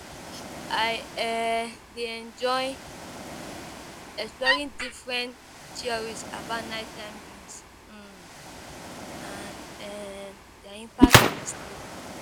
I um dey enjoy exploring different theories about nighttime dreams um and um their impact on sleep.